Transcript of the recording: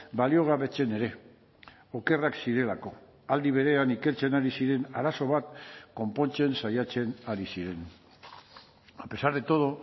baliogabetzen ere okerrak zirelako aldi berean ikertzen ari ziren arazo bat konpontzen saiatzen ari ziren a pesar de todo